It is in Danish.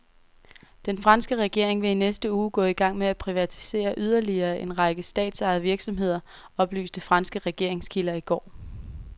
Den franske regering vil i næste uge gå i gang med at privatisere yderligere en række statsejede virksomheder, oplyste franske regeringskilder i går.